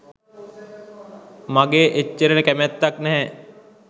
මගේ එච්චර කැමැත්තක් නෑ.